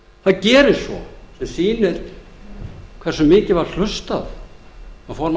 því síðar það gerist svo sem sýnir hversu mikið var hlustað á formann réttarfarsnefndar